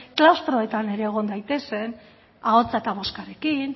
klaustroetan ere egon daitezen ahotsa eta bozkarekin